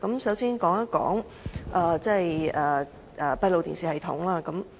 首先說一說閉路電視系統。